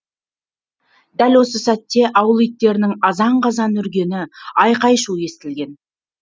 дәл осы сәтте ауыл иттерінің азан қазан үргені айқай шу естілген